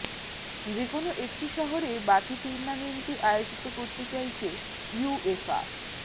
যে কোনও একটি শহরে বাকি টুর্নামেন্টটি আয়োজিত করছে চাইছে ইউয়েফা